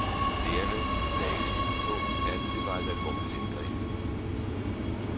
Lægerne lagde ikke skjul på, at det var et alvorligt indgreb.